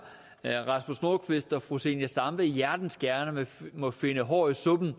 rasmus nordqvist og fru zenia stampe hjertens gerne må finde hår i suppen og